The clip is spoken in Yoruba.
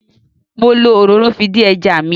Mo lo òróró fi dín ẹja mi.